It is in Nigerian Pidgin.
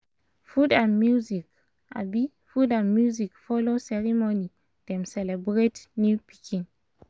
food and music food and music follow ceremony dem celebrate new pikin